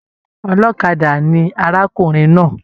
Ọlọ́kadà ni arákùnrin náà.